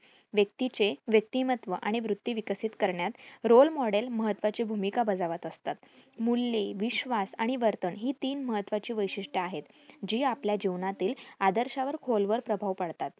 व्यक्तीचे व्यक्तिमत्व आणि वृत्ती विकसित करण्यात role model महत्वाची भूमिका बजावत असतात. मूल्ये, विश्वास, आणि वर्तन ही तीन महत्वाची वैशिट्ये आहेत. जी आपल्या जीवनातील आदर्शावर खोलवर प्रभाव पाडतात.